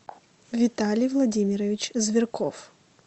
виталий владимирович зверков